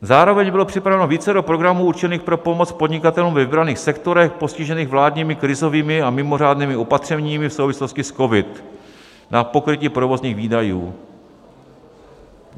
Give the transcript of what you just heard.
Zároveň bylo připraveno vícero programů určených pro pomoc podnikatelům ve vybraných sektorech postižených vládními krizovými a mimořádnými opatřeními v souvislosti s COVID na pokrytí provozních výdajů.